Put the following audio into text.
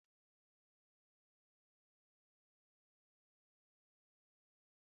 Ọ dị mma iri Nụ́dúls na akwụkwọ nri